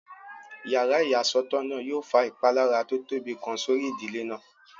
Yàrá ìyàsọ́tọ̀ náà yóò fa ìpalára tó tóbi kan sórí ìdílé náà